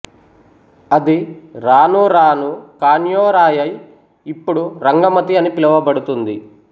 అది రాను రాను కాన్యోరాయై ఇప్పుడు రంగమతి అని పిలవబడుతుంది